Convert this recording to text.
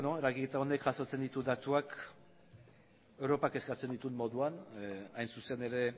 eragiketa honek jasotzen ditu datuak europak eskatzen dituen moduan hain zuzen ere